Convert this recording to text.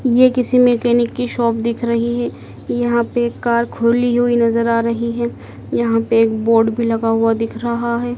ये किसी मैकेनिक की शॉप दिख रही है यहाँ पे एक कार खोली हुई नज़र आ रही है यहाँ पे एक बोर्ड भी लगा हुआ दिख रहा है।